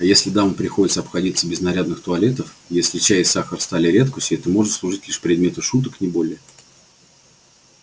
а если дамам приходится обходиться без нарядных туалетов если чай и сахар стали редкостью это может служить лишь предметом шуток не более